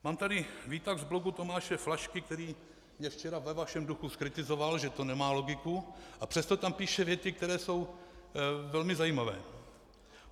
Mám tady výtah z blogu Tomáše Flašky, který mě včera ve vašem duchu zkritizoval, že to nemá logiku, a přesto tam píše věty, které jsou velmi zajímavé.